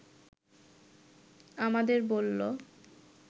আমাদের বলল